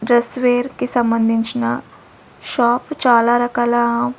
Dress wear కి సంబంధించిన shop చాలా రకాల.